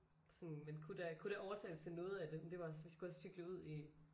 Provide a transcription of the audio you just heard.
Sådan men kunne da kunne da overtales til noget af det men det var også vi skulle også cykle ud i